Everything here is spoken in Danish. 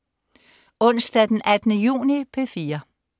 Onsdag den 18. juni - P4: